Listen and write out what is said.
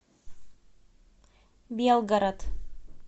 белгород